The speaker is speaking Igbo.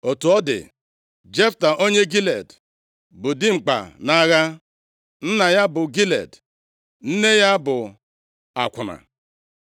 Otu ọ dị, Jefta, onye Gilead, bụ dimkpa nʼagha. Nna ya bụ Gilead; nne ya bụ akwụna.